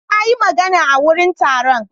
Na yi magana a wurin taron.